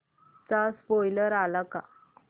चा स्पोईलर आलाय का